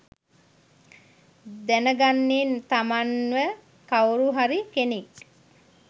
දැනගන්නේ තමන්ව කවුරු හරි කෙනෙක්